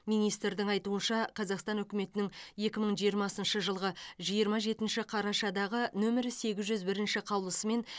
министрдің айтуынша қазақстан үкіметінің екі мың жиырмасыншы жылғы жиырма жетінші қарашадағы нөмірі сегіз жүз бірінші қаулысымен